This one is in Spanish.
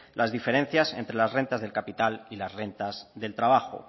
las diferencias entre las rentas del capital y las rentas del trabajo